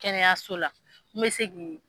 Kɛnɛyaso la min bɛ se k'i